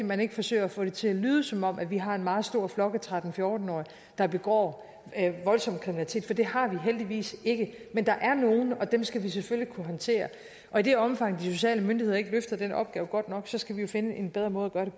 man ikke forsøger at få det til at lyde som om vi har en meget stor flok af tretten til fjorten årige der begår voldsom kriminalitet for det har vi heldigvis ikke men der er nogle dem skal vi selvfølgelig kunne håndtere og i det omfang de sociale myndigheder ikke løfter den opgave godt nok skal vi jo finde en bedre måde